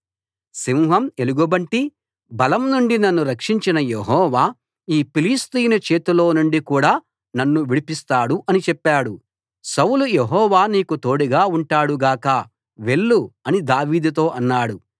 సింహం ఎలుగుబంటి బలం నుండి నన్ను రక్షించిన యెహోవా ఈ ఫిలిష్తీయుని చేతిలోనుండి కూడా నన్ను విడిపిస్తాడు అని చెప్పాడు సౌలు యెహోవా నీకు తోడుగా ఉంటాడు గాక వెళ్ళు అని దావీదుతో అన్నాడు